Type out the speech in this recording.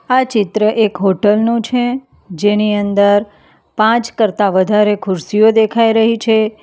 આ ચિત્ર એક હોટલ નું છે જેની અંદર પાંચ કરતાં વધારે ખુરશીઓ દેખાઈ રહી છે.